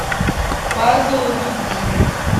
пазл любви